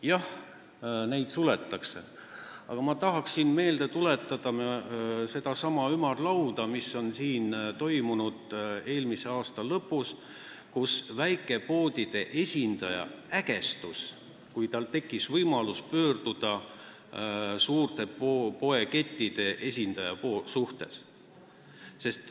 Jah, neid suletakse, aga ma tahan meelde tuletada sedasama ümarlauda, mis korraldati eelmise aasta lõpus ja kus väikepoodide esindaja ägestus, kui tal tekkis võimalus pöörduda suurte poekettide esindaja poole.